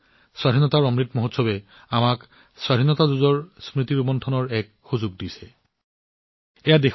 স্বাধীনতাৰ অমৃত মহোৎসৱে আমাক স্বাধীনতা যুদ্ধৰ স্মৃতি জীয়াই থকা আৰু অনুভৱ কৰাৰ সুযোগ দিয়ে